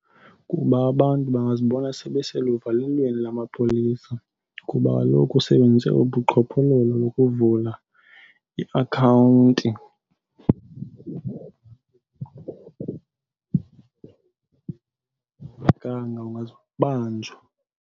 Kuba abantu bangazibona sebeseluvalelweni lamapolisa kuba kaloku usebenzise ubuqhophololo lokuvula iakhawunti ungazubanjwa.